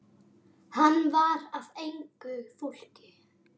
Hann var af engu fólki.